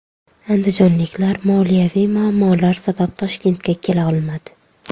Andijonliklar moliyaviy muammolar sabab Toshkentga kela olmadi.